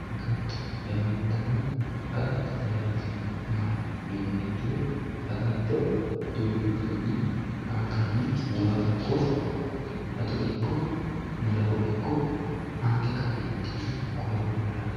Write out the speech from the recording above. Agatto yamantano agatote yaa tini mayate yiniha ikiro agatto duuchu garini angani waa ikko addo ikko malawo ikko ange ka`nentini gooro fulani.